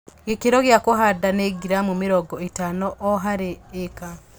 Gĩkĩro gĩa kũhanda nĩ giramu mĩrongo ĩtano o harĩ ĩka